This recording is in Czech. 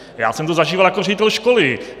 Já jsem to zažíval jako ředitel školy.